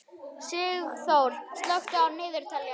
Sigþór, slökktu á niðurteljaranum.